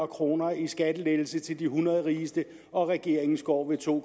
kroner i skattelettelse til de hundrede rigeste og regeringens går ved to